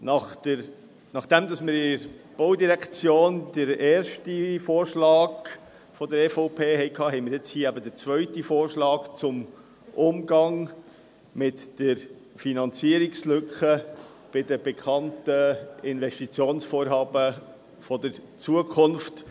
Nachdem wir in der Baudirektion den ersten Vorschlag der EVP hatten, haben wir jetzt den zweiten Vorschlag zum Umgang mit der Finanzierungslücke bei den bekannten Investitionsvorhaben der Zukunft.